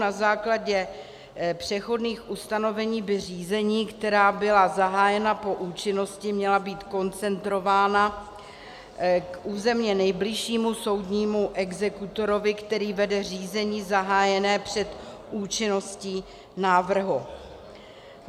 Na základě přechodných ustanovení by řízení, která byla zahájena po účinnosti, měla být koncentrována k územně nejbližšímu soudnímu exekutorovi, který vede řízení zahájené před účinností návrhu.